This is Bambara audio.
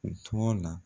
U tɔgɔ la